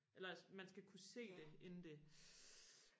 eller at man skal kunne se det inden det